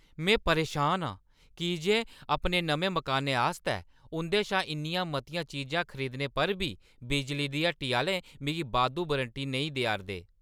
में परेशान आं की जे अपने नमें मकानै आस्तै उं'दे शा इन्नियां मतियां चीजां खरदीने पर बी बिजली दी हट्टी आह्‌ले मिगी बाद्धू वारंटी नेईं देआ 'रदे ।